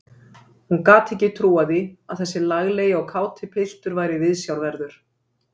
Hún gat ekki trúað því að þessi laglegi og káti piltur væri viðsjárverður.